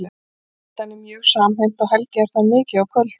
Fjölskyldan er mjög samhent og Helgi er þar mikið á kvöldin.